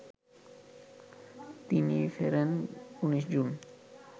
তিনি ফেরেন ১৯ জুন